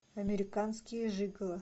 американские жиголо